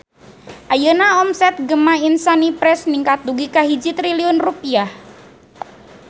Ayeuna omset Gema Insani Press ningkat dugi ka 1 triliun rupiah